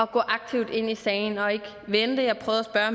gå aktivt ind i sagen og ikke vente jeg prøvede at